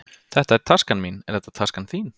Þetta er taskan mín. Er þetta taskan þín?